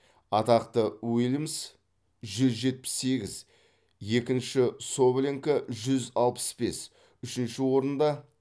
атақты уильмс жүз жетпіс сегіз екінші соболенко жүз алпыс бес үшінші орында